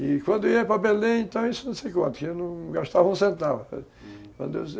E quando eu ia para Belém, então, isso não sei quanto, eu não gastava um centavo, hum